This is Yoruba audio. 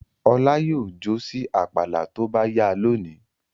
Ọlá yóò jó sí àpàlà tó bá yá lónìí.